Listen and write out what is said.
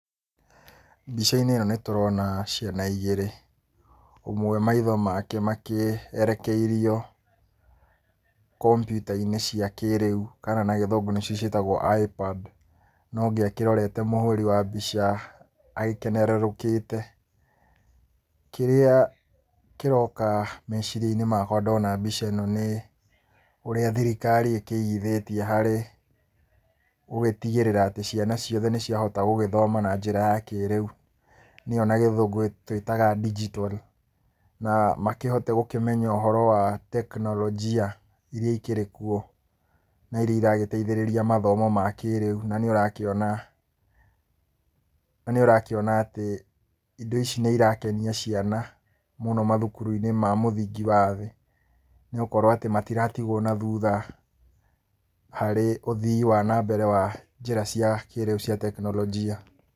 Mbica-inĩ ĩyo nĩ tũrona ciana igĩrĩ. Ũmwe maitho make makĩerekeirio kombiuta-inĩ cia kĩrĩu kana na Gĩthũngũ nĩcio twĩtaga ipad na ũngĩ akĩrorete mũhũri wa mbica agĩkenerũrũkĩte. Kĩrĩa kĩroka meciria-inĩ makwa ndona mbica ĩno nĩ, ũrĩa thirikari ĩkĩigithĩtie harĩ gũgĩtigĩrĩra atĩ ciana ciothe nĩ ciahota gũgĩthoma na njĩra ya kĩrĩu, nĩyo na Gĩthũngũ twĩtaga digital, na makĩhote gũkĩmenya ũhoro wa teknorojia iria ikĩrĩ kuo, na iria iragĩteithĩrĩria mathomo ma kĩrĩu na nĩũrakĩona na nĩũrakĩona atĩ indo ici nĩ irakenia ciana mũno mathukuru-inĩ ma mũthingi wa thĩ, nĩgũkorwo atĩ matiratigwo na thutha harĩ ũthii wa na mbere wa njĩra cia kĩrĩu cia teknorojia.